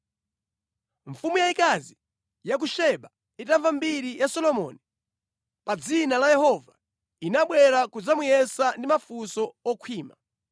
Mfumu yayikazi ya ku Seba itamva za kutchuka kwa Solomoni ndi za ubale wake ndi Yehova, inabwera kudzamuyesa ndi mafunso okhwima.